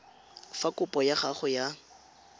fa kopo ya gago ya